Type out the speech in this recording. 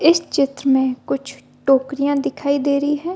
इस चित्र मे कुछ टोकरिया दिखाई दे रही है ।